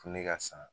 Fini ka san